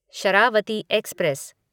Sharavati express